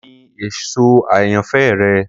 Kini eso ayanfẹ rẹ?